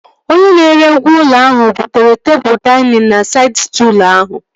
Onye na-ere ngwá ụlọ ahụ butere tebụl dainịn na saịd stụlụ ahụ